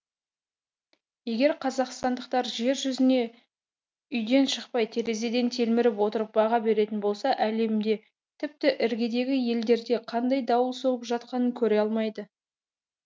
егер қазақстандықтар жер жүзіне үйден шықпай терезеден телміріп отырып баға беретін болса әлемде тіпті іргедегі елдерде қандай дауыл соғып жатқанын көре алмайды